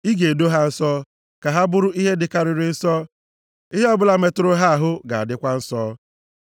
Ị ga-edo ha nsọ, ka ha bụrụ ihe dịkarịrị nsọ. Ihe ọbụla metụrụ ha ahụ ga-adịkwa nsọ.